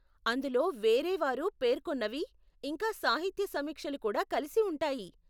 అందులో వేరేవారు పేర్కొన్నవి, ఇంకా సాహిత్య సమీక్షలు కూడా కలిసి ఉంటాయి.